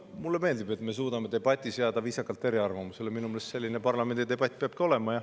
Mulle meeldib, et me suudame debatis jääda viisakalt eriarvamusele, minu meelest selline peabki parlamendi debatt olema.